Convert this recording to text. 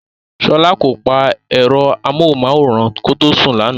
Ṣọ́la kò pa ẹ̀rọ amóhùnmáwòrán kó tó sùn lánàá.